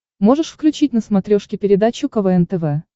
можешь включить на смотрешке передачу квн тв